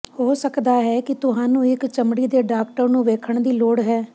ਹੋ ਸਕਦਾ ਹੈ ਕਿ ਤੁਹਾਨੂੰ ਇੱਕ ਚਮੜੀ ਦੇ ਡਾਕਟਰ ਨੂੰ ਵੇਖਣ ਦੀ ਲੋੜ ਹੈ